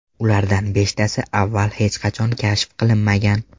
Ulardan beshtasi avval hech qachon kashf qilinmagan!